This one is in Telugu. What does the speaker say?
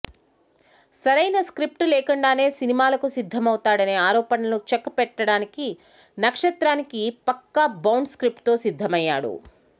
సరైన స్క్రిప్టు లేకుండానే సినిమాలకు సిద్ధమవుతాడనే ఆరోపణలకు చెక్ పెట్టడానికి నక్షత్రానికి పక్కా బౌండ్ స్క్రిప్ట్తో సిద్ధమయ్యాడు